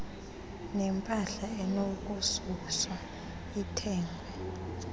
nempahla enokususwa ethengwe